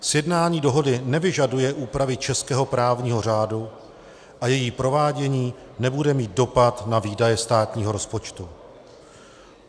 Sjednání dohody nevyžaduje úpravy českého právního řádu a její provádění nebude mít dopad na výdaje státního rozpočtu.